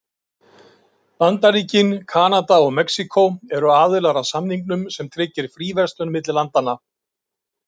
Bandaríkin, Kanada og Mexíkó eru aðilar að samningnum sem tryggir fríverslun milli landanna.